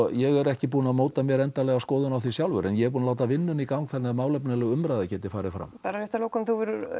ég er ekki búinn að móta mér endanlega skoðun á því sjálfur en ég er búinn að láta vinnuna í gang þannig að málefnaleg umræða geti farið fram bara rétt að lokum þú hefur